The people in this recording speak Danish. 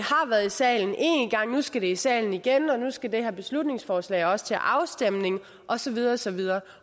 salen en gang nu skal det i salen igen og nu skal det her beslutningsforslag også til afstemning og så videre og så videre